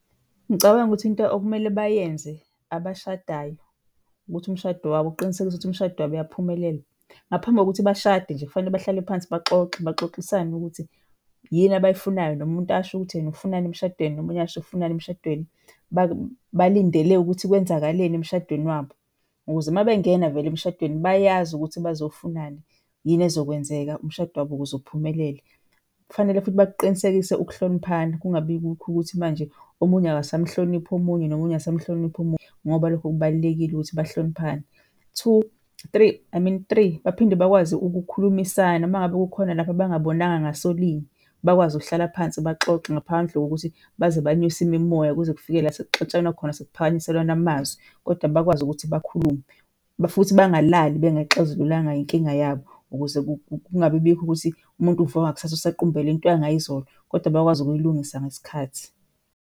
Ngicabanga ukuthi into okumele bayenze abashadayo ukuthi umshado wabo uqinisekise ukuthi umshado wabo uyaphumelela. Ngaphambi kokuthi bashade nje, kufanele bahlale phansi baxoxe, baxoxisane ukuthi yini abayifunayo, nomuntu asho ukuthi yena ufunani emshadweni nomunye asho ufunani emshadweni. Balindele ukuthi kwenzakaleni emshadweni wabo ukuze uma bengena vele emshadweni bayazi ukuthi bazofunani, yini ezokwenzeka umshado wabo ukuze uphumelele. Kufanele futhi bakuqinisekise ukuhloniphana kungabikho ukuthi manje omunye akasamhloniphi omunye, nomunye akasamhloniphi omunye ngoba lokho kubalulekile ukuthi bahloniphane. Three, baphinde bakwazi ukukhulumisana uma ngabe kukhona lapho bangabonanga ngasolinye bakwazi ukuhlala phansi baxoxe ngaphandle kokuthi baze banyuse imimoya kuze kufike la sekuxatshanwa khona, sekuphakanyiselwana amazwi kodwa bakwazi ukuthi bakhulume. Futhi bangalali bengayixazululanga inkinga yabo ukuze kungabibikho ukuthi umuntu uvuka ngakusasa usaqumbele into yangayizolo, kodwa bakwazi ukuyilungisa ngesikhathi.